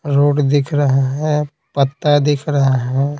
Road दिख रहा है पत्ता दिख रहा है।